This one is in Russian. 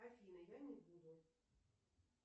афина я не буду